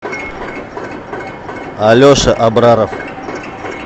алеша абраров